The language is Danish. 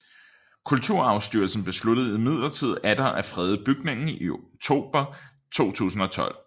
Kulturarvsstyrelsen besluttede imidlertid atter at frede bygningen i oktober 2012